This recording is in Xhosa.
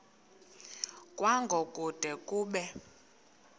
kwango kude kube